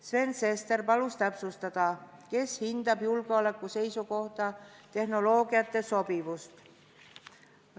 Sven Sester palus täpsustada, kes hindab julgeoleku seisukohalt tehnoloogiate sobivust.